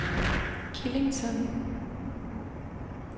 Killington